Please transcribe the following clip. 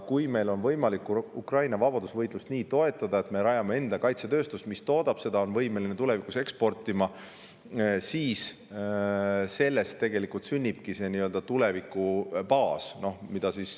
Kui meil on võimalik Ukraina vabadusvõitlust toetada nii, et me rajame enda kaitsetööstuse, mis midagi toodab ja on võimeline tulevikus eksportima, siis sellest tegelikult sünnibki see tuleviku baas.